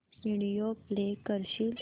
video play करशील